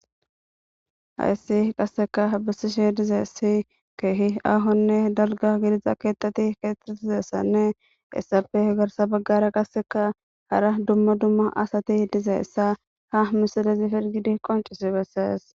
hayssi qasseka bissishi dizesi keehi ahonne dalga gidiza keettati keettat dizessanne issafe garsa baggara qasseka hara dumma dumma asati dizeessa ha misidezifergidi qoncisi bessees